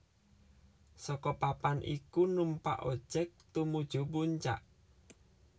Saka papan iku numpak ojek tumuju puncak